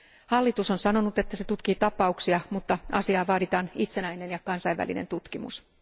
Hallitus on sanonut, että se tutkii tapauksia, mutta asiaan vaaditaan itsenäinen ja kansainvälinen tutkimus.